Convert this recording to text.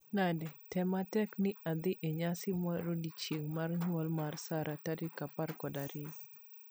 Nade? Tem matek ni adhi e nyasi marodiechieng'; mar nyuol mar Sarah tarik apar kod ariyo.